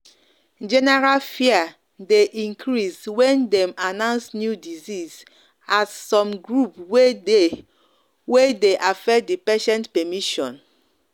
general fear dey increase when dem announce new disease as some group dey do way dey affect the patient permission.